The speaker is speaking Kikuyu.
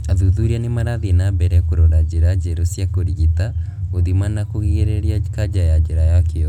Athuthuria nĩmarathiĩ na mbere kũrora njĩra njerũ cia kũrigita , gũthima na kũrigĩrĩria kanja ya njĩra ya kĩoro